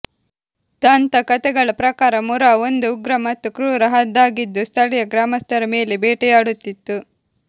ದಂತಕಥೆಗಳ ಪ್ರಕಾರ ಮುರಾ ಒಂದು ಉಗ್ರ ಮತ್ತು ಕ್ರೂರ ಹದ್ದಾಗಿದ್ದು ಸ್ಥಳೀಯ ಗ್ರಾಮಸ್ಥರ ಮೇಲೆ ಬೇಟೆಯಾಡುತ್ತಿತ್ತು